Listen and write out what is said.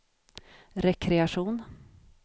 rekreation